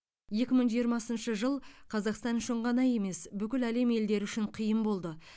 екі мың жиырмасыншы жыл қазақстан үшін ғана емес бүкіл әлем елдері үшін қиын болды